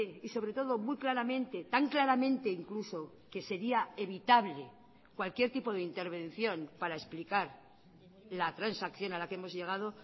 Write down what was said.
y sobre todo muy claramente tan claramente incluso que sería evitable cualquier tipo de intervención para explicar la transacción a la que hemos llegado